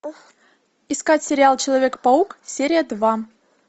искать сериал человек паук серия два